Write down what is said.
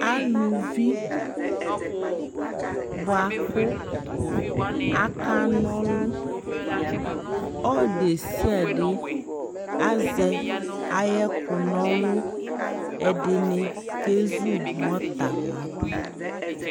alʋvi bʋakʋ aka nɔlʋ, ɔdiɛsiadɛ azɛ ayɛ kʋ nɔlʋ, ɛdinikɛzʋmortar ladʋ